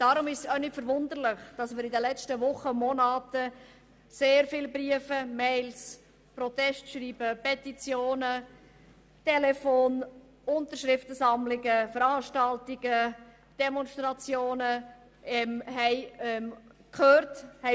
Deshalb ist es auch nicht verwunderlich, dass wir in den letzten Wochen und Monaten sehr viele Briefe, EMails, Protestschreiben, Petitionen und Telefonanrufe erhalten und Unterschriftensammlungen, Veranstaltungen und Demonstrationen erlebt haben.